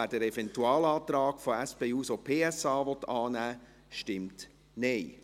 wer den Eventualantrag von SP-JUSO-PSA annehmen will, stimmt Nein.